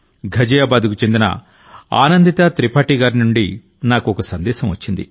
ఘజియాబాద్ కు చెందిన ఆనందితా త్రిపాఠి గారి నుండి నాకు సందేశం వచ్చింది